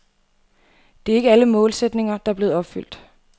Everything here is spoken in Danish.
Det er ikke alle målsætninger, der er blevet opfyldt.